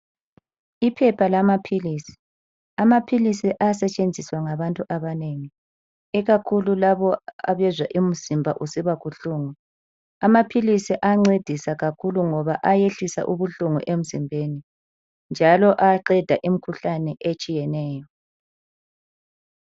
Iphepha lamaphilisi. Amaphilisi ayasetshenziswa ngabantu abanengi, ikakhulu labo abezwa imizimba usiba buhlungu. Amaphilisi ayancedisa kakhulu ngoba ayehlisa ubuhlungu emzimbeni njalo ayaqeda imikhuhlane etshiyeneyo.